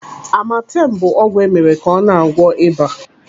Amatem bụ ọgwụ emere ka ọ na-agwọ ịba.